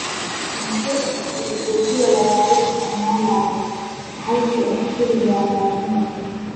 Maxay tahay ujeedada lagaaga isticmaalo halkii aad kaligaa raadin lahayd